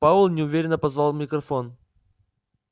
пауэлл неуверенно позвал в микрофон